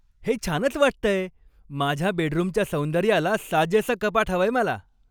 हे छानच वाटतंय! माझ्या बेडरूमच्या सौंदर्याला साजेसं कपाट हवंय मला.